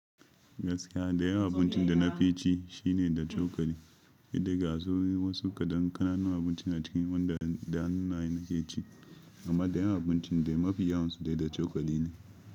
Gaskiya, dayawan abincin da na fi ci shine da cokali. Ki dinga zo min wasu kadan ƙananun abinci a cikin wanda da hannuna na ke ci, amma dayawan abincin dai mafi yawansu dai da cokali ne.